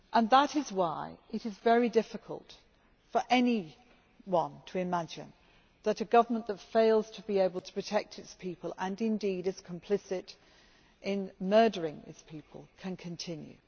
That is why it is very difficult for anyone to imagine that a government that fails to be able to protect its people and indeed is complicit in murdering its people can continue.